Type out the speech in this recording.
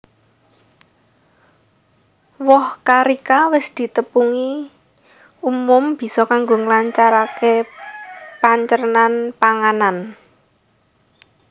Woh carica wis ditepungi umum bisa kanggo nglancaraké pancernan panganan